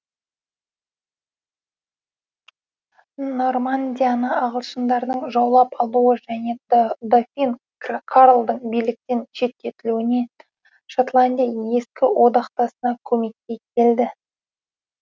нормандияны ағылшындардың жаулап алуы және дофин карлдың биліктен шеттелуінен шотландия ескі одақтасына көмекке келді